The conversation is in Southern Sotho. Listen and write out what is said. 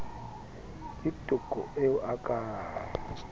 ke toko eo a ka